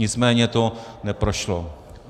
Nicméně to neprošlo.